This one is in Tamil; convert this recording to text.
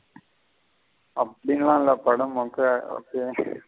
அப்படில இல்ல படம் மொக்கயாத இருக்கு.